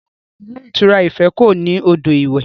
Rárá, ilé ìtura Ife kò ní odò iwẹ̀